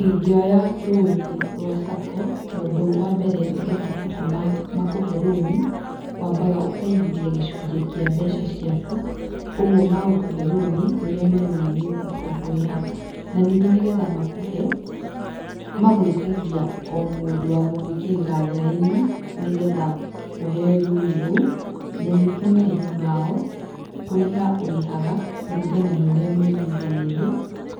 Ingĩoya loan rwa SACCO tondũ wa mbere nĩ getha SACCO makũhe loan wambaga ũkaigithia gĩcunjĩ kĩa mbeca ciaku, ũguo magũkũhe loan rũrĩa marona nĩũkũhota kũrĩha na ningĩ nĩgetha makũhe magwĩtagia o mũndũ wa gũgwĩkĩrĩra thaĩni nĩgetha ũheo loan rũu na ningĩ marĩhi mao, kũrĩha ũrĩhaga kũringana na ũrĩa mwaiguithanĩria